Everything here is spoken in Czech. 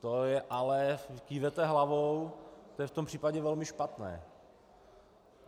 To je ale - kýváte hlavou - to je v tom případě velmi špatné.